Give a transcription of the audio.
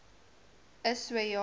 is so ja